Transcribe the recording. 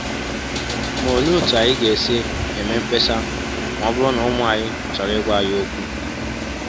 Ma olee otú anyị ga-esi eme mkpesa ma ọ bụrụ na ụmụ anyị chọrọ ịgwa anyị okwu?